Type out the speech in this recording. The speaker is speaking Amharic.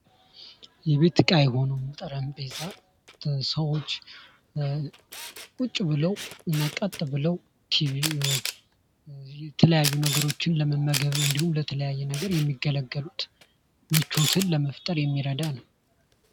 የቤት እቃ የሆኑ ጠረጴዛ ሰዎች ቁጭ ብለው እና ቀጥ ብሎ ቲቪም የተለያዩ ነገሮችን ለመመገብ እንዲሁም ለተለያየ ነገር የሚገለገሉትን ምቾትን ለመፍጠር የሚረዳ ነው።